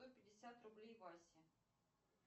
сто пятьдесят рублей васе